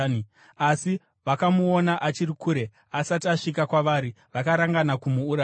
Asi vakamuona achiri kure, asati asvika kwavari, vakarangana kumuuraya.